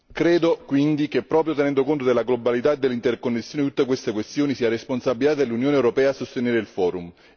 Credo quindi che, proprio tenendo conto della globalità dell'interconnessione di tutte queste questioni, sia responsabilità dell'Unione europea sostenere il Forum.